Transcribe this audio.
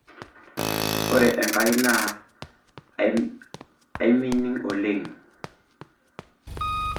Ore Enkai naa aminin oleng'